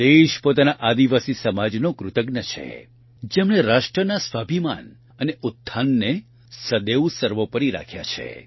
દેશ પોતાના આદિવાસી સમાજનો કૃતજ્ઞ છે જેમણે રાષ્ટ્રના સ્વાભિમાન અને ઉત્થાનને સદૈવ સર્વોપરી રાખ્યા છે